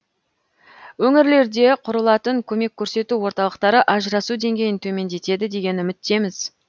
өңірлерде құрылатын көмек көрсету орталықтары ажырасу деңгейін төмендетеді деген үміттеміз